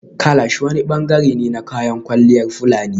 Kalash wani bangare ne na kayan kwalliyar fulani